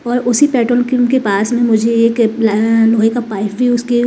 और उसी पेट्रोल के उनके पास में मुझे एक अ लोहे का पाइप उसके--